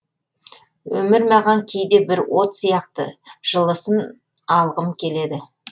өмір маған кейде бір от сияқты жылысын алғым келеді